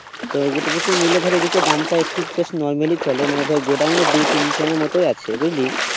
তোর মোটামুটি নিলে ধর দামটা একটু বেশ normal ই চলে মানে ধর গোডাউন দু-তিন খানার মতো আছে। বুঝলি